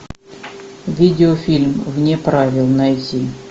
видео фильм вне правил найди